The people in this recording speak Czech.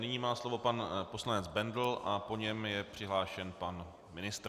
Nyní má slovo pan poslanec Bendl a po něm je přihlášen pan ministr.